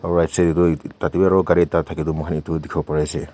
right side taetu tatae bi aro ekta gari thaka toh mohan edu dikhiwo pariase.